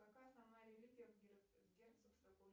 какая основная религия в